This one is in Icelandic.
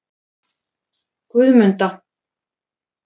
Guðmunda